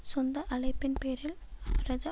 சொந்த அழைப்பின் பேரில் அவரது